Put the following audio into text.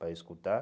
Para escutar.